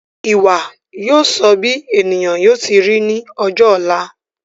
Ìwà yóò sọ bí ènìyàn yóò ti ri ní ọjọ ọ̀la